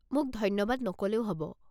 মোক ধন্যবাদ নক'লেও হ'ব।